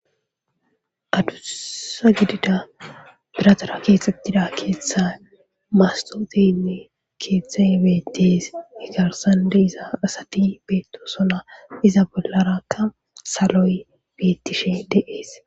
Adusa gidida biratara keexettida keeththa mastoxeynne keeththa beetees igarsande iza asati beettosona iza bollarakka saloy beettishe deees.